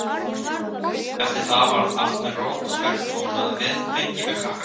Eftir það var allt með ró og spekt og hún náði vinfengi við krakkana.